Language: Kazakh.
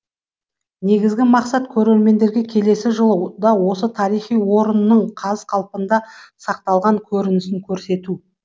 негізгі мақсат көрермендерге келесі жылы да осы тарихи орынның қаз қалпында сақталған көрінісін көрсету